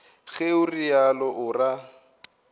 ge o realo o ra